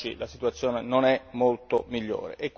Oggi la situazione non è molto migliore.